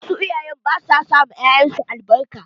Wasu iyayen ba su ma 'ya'yan su albarka.